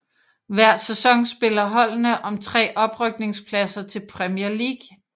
Hver sæson spiller holdene om tre oprykningspladser til Premier League